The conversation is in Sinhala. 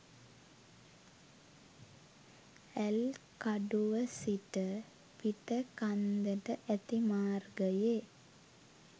ඇල්කඩුව සිට පිටකන්දට ඇති මාර්ගයේ